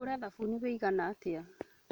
Ngũre thabuni ũigana atĩa?